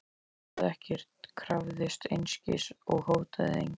Hún heimtaði ekkert, krafðist einskis og hótaði engu.